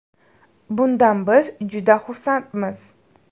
Bundan biz juda xursandmiz.